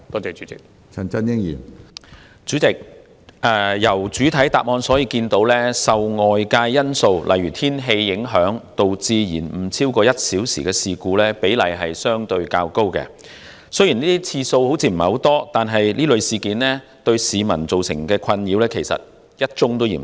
主席，從主體答覆可見，受外界因素影響而導致延誤超過1小時的事故比例相對較高，雖然這類事件發生次數似乎不多，但考慮到對市民造成的困擾，其實1宗也嫌多。